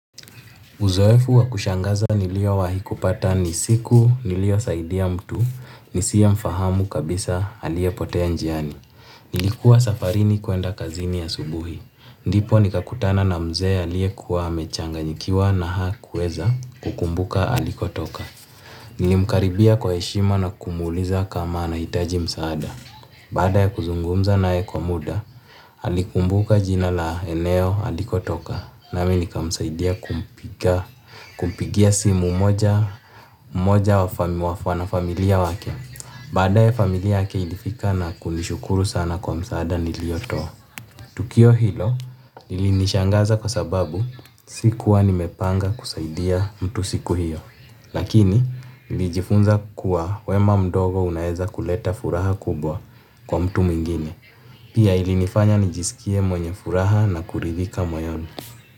Uzoefu wa kushangaza niliowahi kupata ni siku niliosaidia mtu, nisiyemfahamu kabisa aliyepotea njiani. Nilikuwa safarini kuenda kazini asubuhi. Ndipo nikakutana na mzee aliyekuwa amechanganyikiwa na hakueza kukumbuka alikotoka. Nilimkaribia kwa heshima na kumuuliza kama anahitaji msaada. Baada ya kuzungumza naye kwa muda, alikumbuka jina la eneo alikotoka. Nami nikamsaidia kumpigia simu mmoja wa familia wake. Baadae familia yake ilifika na kunishukuru sana kwa msaada niliyotoa. Tukio hilo lilinishangaza kwa sababu si kuwa nimepanga kusaidia mtu siku hiyo. Lakini nilijifunza kuwa wema mdogo unaweza kuleta furaha kubwa kwa mtu mwingine. Pia ilinifanya nijisikie mwenye furaha na kuridhika moyoni.